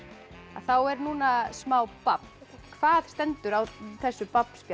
þá er núna smá babb hvað stendur á þessu babb spjaldi